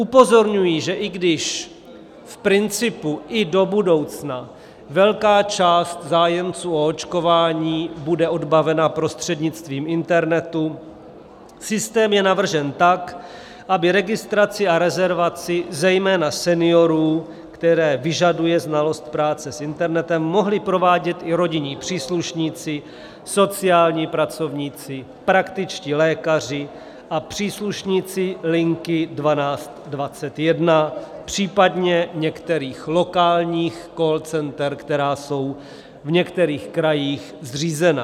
Upozorňuji, že i když v principu i do budoucna velká část zájemců o očkování bude odbavena prostřednictvím internetu, systém je navržen tak, aby registraci a rezervaci zejména seniorů, které vyžadují znalost práce s internetem, mohli provádět i rodinní příslušníci, sociální pracovníci, praktičtí lékaři a příslušníci linky 1221, případně některých lokálních call center, která jsou v některých krajích zřízena.